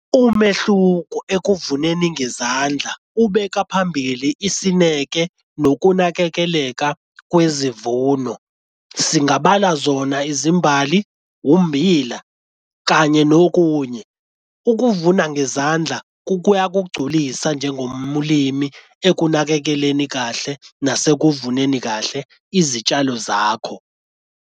Umehluko ekuvuneni ngezandla, ubeka phambili isineke nokunakekeleka kwezivuno. Singabala zona izimbali, ummbila, kanye nokunye. Ukuvuna ngezandla kuyakugulisa njengomlimi ekunakekeleni kahle nasekuvuneni kahle izitshalo zakho.